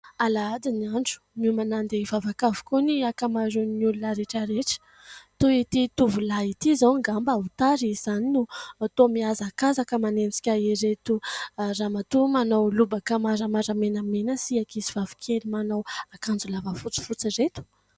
Alahady ny andro. Miomana handeha hivavaka avokoa ny ankamaroan'ny olona rehetrarehetra ; toy ity tovolahy ity izao, angamba tara izy izany no toa mihazakazaka manenjika ireto Ramatoa manao lobaka maramara menamena sy ankizivavy kely manao akanjo lava fotsiny ireto ?